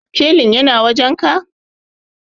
sikelin yana wajenka?